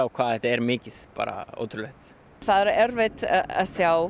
hvað þetta er mikið bara ótrúlegt það er erfitt að sjá